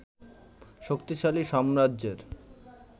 শক্তিশালী সাম্রাজ্যের